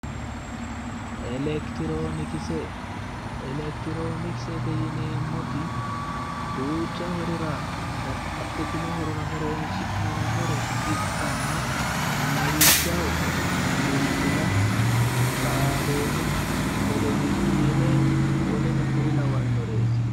Elekitironkise, Elekitironkisete yineemmoti duucha horora babbaxxitino horora horonsi'neemmore ikkanna lawishshaho, bilbil, raadone, televiyiine woleno kuri lawannoreeti.